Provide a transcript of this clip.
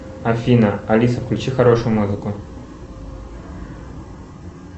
афина алиса включи хорошую музыку